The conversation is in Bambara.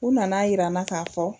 U nana yira n na k'a fɔ